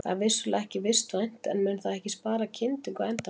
Það er vissulega ekki vistvænt en mun það ekki spara kyndingu á endanum?